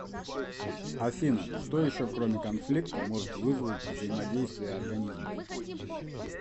афина что еще кроме конфликта может вызвать взаимодействие организмов